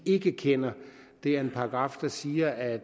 ikke kender det er en paragraf der siger at